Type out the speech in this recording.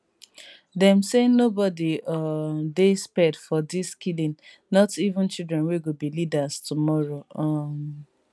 dem say noboby um dey spared for dis killing not even children wey go be leaders tomorrow um